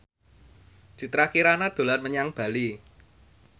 Citra Kirana dolan menyang Bali